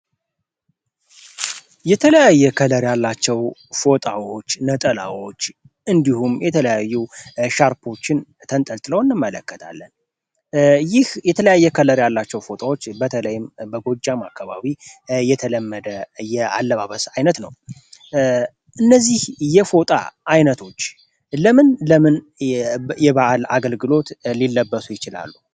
የተለያዬ ከለር ያላቸው ፎጣዎች ነጠላዎች እንዲሁም የተለያዩ ሻርፖችን ተንጠልት ለው እንመለከታለን ይህ የተለያየ ከለር ያላቸው ፎጣዎች በተለይም በጎጃም አካባቢ የተለመደየ አለባበስ ዓይነት ነው። እነዚህ የፎጣ ዓይነቶች ለምን ለምንየባዓል አገልግሎት ሊለበሶ ይችላሉ?